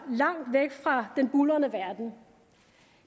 langt væk fra den buldrende verden